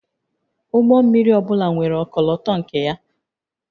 Ụgbọ mmiri ọ bụla nwere ọkọlọtọ nke ya